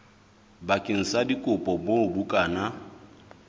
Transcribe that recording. bakeng sa dikopo moo bukana